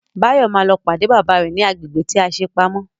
Báyọ̀ ma lọ pàdé bàbá rẹ̀ ní agbègbè tí a ṣe pamọ́